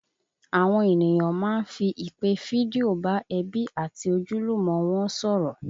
Àwọn ènìyàn máa ń fi ìpè fídíò bá ẹbí àti ojúlùmọ̀ wọn sọ̀rọ̀